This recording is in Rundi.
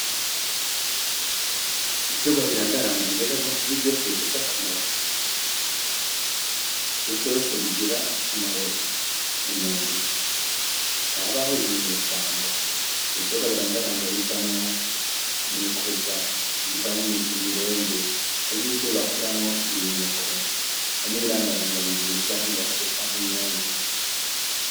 Ibiterwa birandaranda mbega ni vyose bifise akamaro ? Ni vyose bigira akamaro umuntu ? Ntihabaho ibinyeshamba ? Ibiterwa biradaranda bivamwo imikuza, bivamwo imirende hari nivyo bakuramwo ibinyuko, hari n'ibirandaranda biribwa nk'ibiharage canke imyungu.